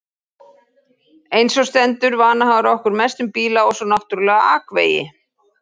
Einsog stendur vanhagar okkur mest um bíla og svo náttúrlega akvegi.